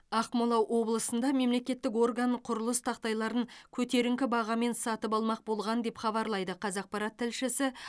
ақмола облысында мемлекеттік орган құрылыс тақтайларын көтеріңкі бағамен сатып алмақ болған деп хабарлайды қазақпарат тілшісі